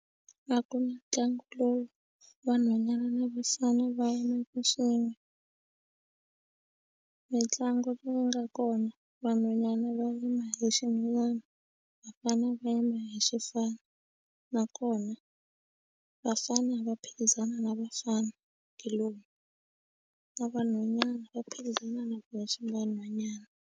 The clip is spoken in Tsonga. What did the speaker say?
A ku na mitlangu lowu vanhwanyana lavisana va yimaka xin'we mitlangu leyi nga kona vanhwanyana va rima hi le ximilana vafanele va nyama hi xifana nakona vafane va phikizana na vafana kuloni va vanhwanyana va phikizana na ku ya xava nhwanyana.